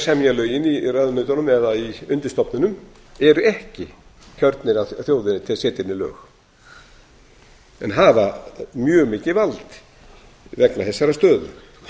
semja lögin í ráðuneytunum eða í undirstofnunum eru ekki kjörnir af þjóðinni til að setja henni lög en hafa ég mikið vald vegna þessarar stöðu